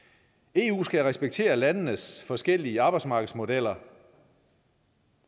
eu skal respektere landenes forskellige arbejdsmarkedsmodeller